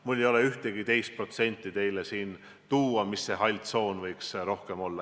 Mul ei ole ühtegi teist protsenti teile siin tuua, ma ei tea, kui suur see hall tsoon võiks olla.